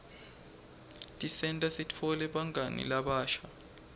tisenta sitfole bangani labasha